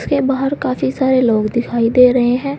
इसके बाहर काफी सारे लोग दिखाई दे रहे हैं।